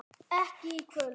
Ekki í kvöld.